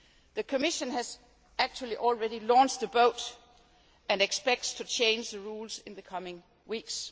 The Commission has actually already launched the boat and expects to change the rules in the coming weeks.